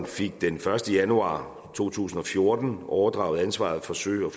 fik den første januar to tusind og fjorten overdraget ansvaret for sø og